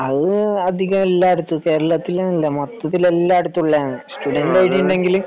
അത് അധികം എല്ലായിടത്തും കേരളത്തിൽ എല്ലായിടത്തും മൊത്തത്തിൽ എല്ലായിടത്തും ഉള്ളതാണ് സ്ടുടെന്റ്റ് ഐഡി ഉണ്ടെങ്കിൽ